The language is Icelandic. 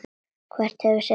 Hver hefur sitt.